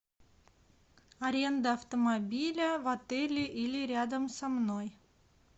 аренда автомобиля в отеле или рядом со мной